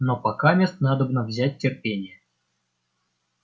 но покамест надобно взять терпение